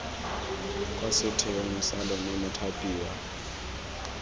kwa setheong sa lona mothapiwa